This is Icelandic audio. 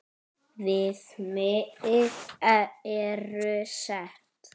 Viðmið eru sett.